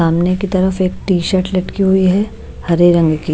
सामने की तरफ एक टी शर्ट लटकी हुई है हरे रंग की --